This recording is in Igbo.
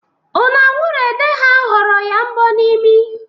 Ụnanwụrụede ha họrọ ya mbọ n' imi.